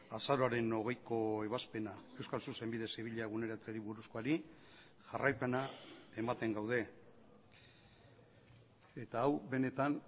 azaroaren hogeiko ebazpena euskal zuzenbide zibila eguneratzeari buruzkoari jarraipena ematen gaude eta hau benetan